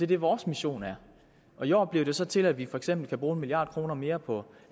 det vores mission er i år blev det så til at vi for eksempel kan bruge en milliard kroner mere på